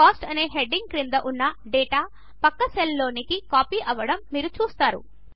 Coast అనే heading క్రింద ఉన్న డేటా పక్క సెల్స్లోనికి కాపీ అవడము మీరు చూస్తారు